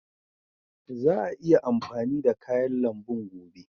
Za a iya amfani da kayan lambun gobe.